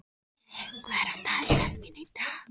Skíði, hvað er á dagatalinu mínu í dag?